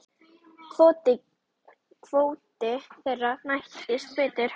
Kvóti þeirra nýtist því betur.